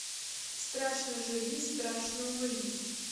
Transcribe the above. страшно живи страшно умри